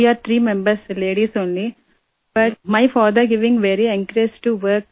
way are three members ladies only but my father giving very encourage to work